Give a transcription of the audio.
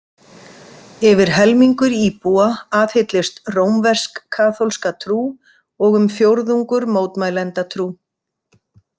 Yfir helmingur íbúa aðhyllist rómversk-kaþólska trú og um fjórðungur mótmælendatrú.